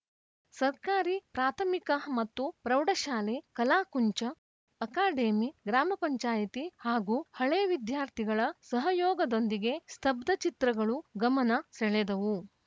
ಸರ್ಕಾರಿ ಪ್ರಾಥಮಿಕ ಮತ್ತು ಪ್ರೌಢಶಾಲೆ ಕಲಾಕುಂಚ ಅಕಾಡೆಮಿ ಗ್ರಾಮ ಪಂಚಾಯಿತಿ ಹಾಗೂ ಹಳೇ ವಿದ್ಯಾರ್ಥಿಗಳ ಸಹಯೋಗದೊಂದಿಗೆ ಸ್ತಬ್ಧ ಚಿತ್ರಗಳು ಗಮನ ಸೆಳೆದವು